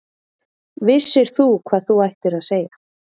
Vissir þú hvað þú ættir að segja?